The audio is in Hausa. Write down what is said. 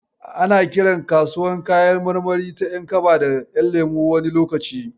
Ana kiran kasuwar kayan marmari ta ƴankaba da ƴanlemo wani lokacin.